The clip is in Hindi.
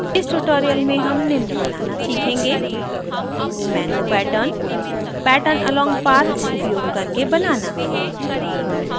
इस tutorial में हम निम्न बनाना सीखेंगे